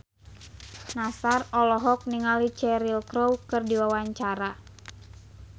Nassar olohok ningali Cheryl Crow keur diwawancara